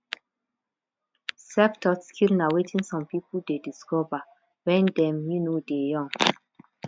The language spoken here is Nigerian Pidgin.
self taught skill na wetin some pipo de discover when dem um de young